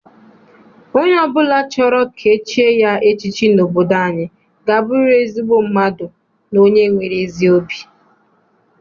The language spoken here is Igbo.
Onye ọbụla chọrọ ka e chie ya echiche n'obodo anyị ga aburiri ezigbo mmadụ na onye nwere ezi obi.